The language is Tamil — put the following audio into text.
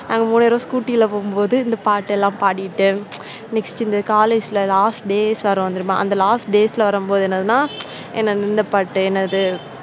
நாங்க மூணு பேரும் scooty ல போகும்போது இந்த பாட்டை எல்லாம் பாடிட்டு, next இந்த college ல last days வரும் தெரியுமா? அந்த last days ல வரும் போது என்னன்னா ஏன்னா இந்தப் பாட்டு என்னது,